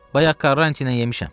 Bayaq Karançın yemişəm.